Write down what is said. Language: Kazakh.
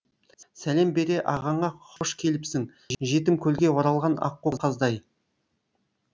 сәлем бере ағаңа хош келіпсің жетім көлге оралған аққу қаздай